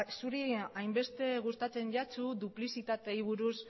zuri hainbeste gustatzen zaizu duplizitateei buruz